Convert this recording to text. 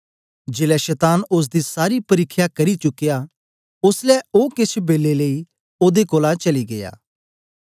जेलै शतान ओसदी सारी परिख्या करी चुकया ओसलै ओ केछ बेलै लेई ओदे कोलां चली गीया